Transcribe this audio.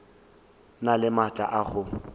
na le maatla a go